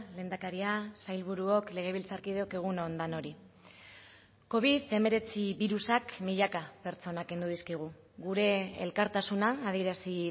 lehendakaria sailburuok legebiltzarkideok egun on denoi covid hemeretzi birusak milaka pertsonak kendu dizkigu gure elkartasuna adierazi